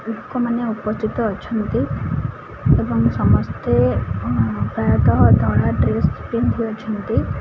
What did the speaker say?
ଲୋକମାନେ ଉପସ୍ଥିତ ଅଛନ୍ତି ଏବଂ ସମସ୍ତେ ପ୍ରାୟତଃ ଧଳା ଡ୍ରେସ ପିନ୍ଧି ଅଛନ୍ତି।